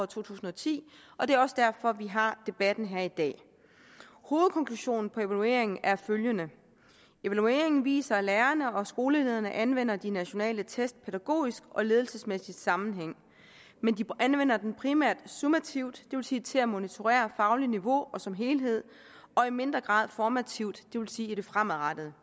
to tusind og ti og det er også derfor vi har debatten her i dag hovedkonklusionen på evalueringen er følgende evalueringen viser at lærerne og skolelederne anvender de nationale test i pædagogisk og ledelsesmæssig sammenhæng men de anvender dem primært summativt det vil sige til at monitorere faglige niveau som en helhed og i mindre grad formativt det vil sige i det fremadrettede